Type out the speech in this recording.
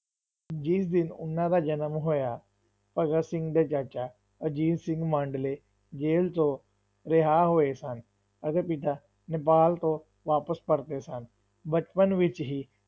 ਜਿਸ ਦਿਨ ਉਹਨਾਂ ਦਾ ਜਨਮ ਹੋਇਆ, ਭਗਤ ਸਿੰਘ ਦੇ ਚਾਚਾ ਅਜੀਤ ਸਿੰਘ ਮਾਂਡਲੇ ਜੇਲ੍ਹ ਚੋਂ ਰਿਹਾ ਹੋਏ ਸਨ ਅਤੇ ਪਿਤਾ ਨੇਪਾਲ ਤੋਂ ਵਾਪਿਸ ਪਰਤੇ ਸਨ, ਬਚਪਨ ਵਿੱਚ ਹੀ